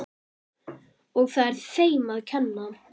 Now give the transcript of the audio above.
Og það er þeim að kenna.